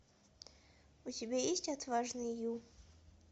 у тебя есть отважный ю